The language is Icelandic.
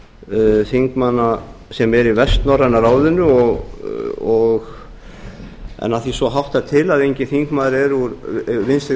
hálfu þingmanna sem eru í vestnorræna ráðinu en af því að svo háttar til að enginn þingmaður úr vinstri